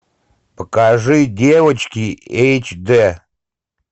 покажи девочки эйч д